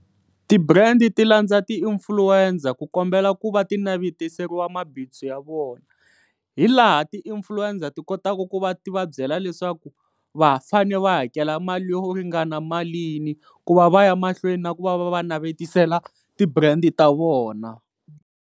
Ti-brand ti landza ti-influencer ku kombela ku va ti navetiseriwa mabindzu ya vona hi laha ti-influencer ti kotaka ku va ti va byela leswaku va ha fane va hakela mali yo ringana malini ku va va ya mahlweni na ku va va navetisela ti-brand ta vona.